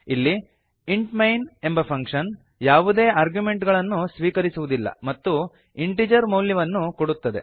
ಇಲ್ಲಿ int main ಎಂಬ function ಯಾವುದೇ ಆರ್ಗ್ಯುಮೆಂಟ್ ಗಳನ್ನು ಸ್ವೀಕರಿಸುವುದಿಲ್ಲ ಮತ್ತು ಇಂಟಿಜರ್ ಮೌಲ್ಯವನ್ನು ಕೊಡುತ್ತದೆ